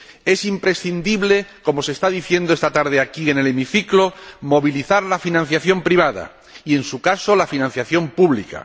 Es imprescindible, como se está diciendo esta tarde aquí en el hemiciclo, movilizar la financiación privada y, en su caso, la financiación pública.